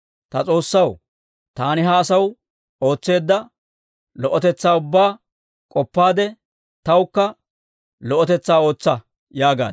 «Ta S'oossaw, taani ha asaw ootseedda lo"otetsaa ubbaa k'oppaade, tawukka lo"otetsaa ootsa» yaagaad.